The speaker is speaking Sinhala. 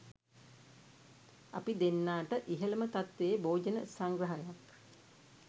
අපි දෙන්නාට ඉහළම තත්ත්වයේ භෝජන සංග්‍රහයක්